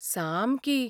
सामकी.